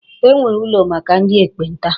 E nwere ụlọ maka ndị ekpenta.